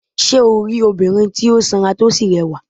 Sé o rí obìnrin tí ó sanra tí ó sì rẹwà?